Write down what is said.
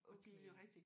Okay